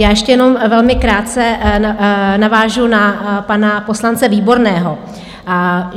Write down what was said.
Já ještě jenom velmi krátce navážu na pana poslance Výborného.